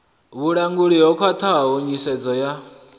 vhulanguli ho khwathaho nyisedzo ya